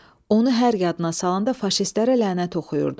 Onu hər yadına salanda faşistlərə lənət oxuyurdu.